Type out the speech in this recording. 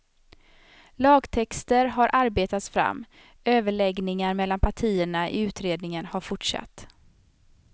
Lagtexter har arbetats fram, överläggningar mellan partierna i utredningen har fortsatt.